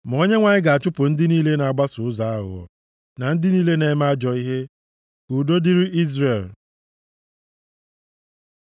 Ma Onyenwe anyị ga-achụpụ ndị niile na-agbaso ụzọ aghụghọ na ndị niile na-eme ajọ ihe. Ka udo dịrị Izrel.